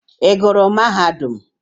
Ị gụrụ mahadum?